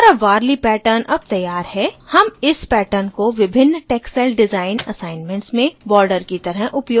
हमारा warli pattern अब तैयार है हम इस pattern को विभिन्न textile डिजाइन assignments में border की तरह उपयोग कर सकते हैं